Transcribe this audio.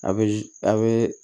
A bɛ a bɛ